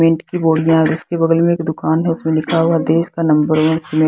cement की बोरियां है और में उसके बगल में एक दुकान है उसमें लिखा हुआ है देश का नंबर वन सिमेन्ट --